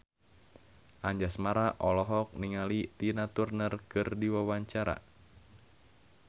Anjasmara olohok ningali Tina Turner keur diwawancara